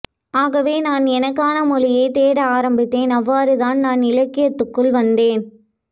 ஆகவே நான் எனக்கான மொழியை தேட ஆரம்பித்தேன் அவ்வாறுதான் நான் இலக்கியத்துக்குள் வந்தேன்